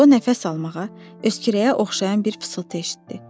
O nəfəs almağa, öskürəyə oxşayan bir fısıltı eşitdi.